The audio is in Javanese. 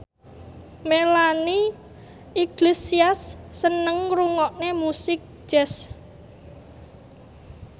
Melanie Iglesias seneng ngrungokne musik jazz